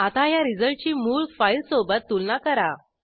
आता ह्या रिझल्टची मूळ फाईल सोबत तुलना करा